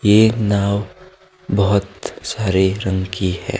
ये एक नाव बहुत सारे रंग की है।